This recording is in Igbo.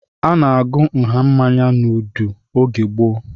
A na-agụ nha mmanya n'udu oge gboo